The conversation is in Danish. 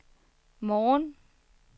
morgen